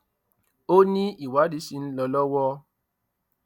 ó ní ìwádìí ṣì ń lọ lọwọ